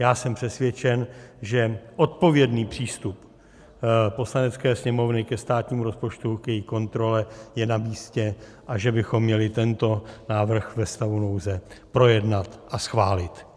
Já jsem přesvědčen, že odpovědný přístup Poslanecké sněmovny ke státnímu rozpočtu, k její kontrole je namístě a že bychom měli tento návrh ve stavu nouze projednat a schválit.